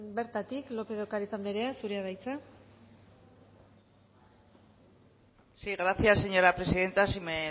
bertatik lópez de ocariz anderea zurea da hitza sí gracias señora presidenta si me